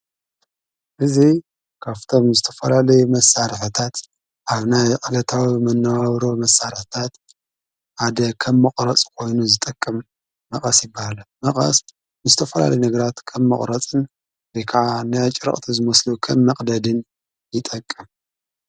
እዙ ካፍቶም ምስተፈላል መሣርሕታት ኣብና የዕገታዊ ምነውውሮ መሣረህታት ኣደ ኸብ መቝረጽ ኾይኑ ዝጠቅም መቐስ ይበሃለ መቓስ ምስተፈላሊ ነግራት ከም መቕረጽን ሊከዓ ንኣጭረቕት ዘመስሉ ኸን መቕደድን ይጠቅም።